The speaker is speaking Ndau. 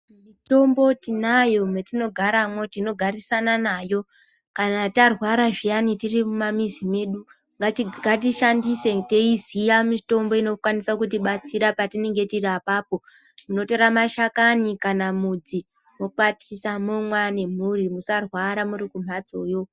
Mitombo tinayo mwetino garamwo tino garisana nayo kana tarwara zviyani tiri mu mamizi medu ngati shandise teyi ziya mitombo ino kwanisa kuti batsira patinenge tiri apapo tinotora mashakani kana mudzi wokwatisa momwa ne mhuri musa rwara muri kumhatsoyo.